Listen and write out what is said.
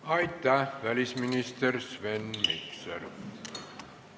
Aitäh, välisminister Sven Mikser!